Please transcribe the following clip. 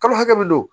Kalo hakɛ min do